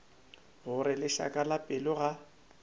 gore lešaka la pelo ga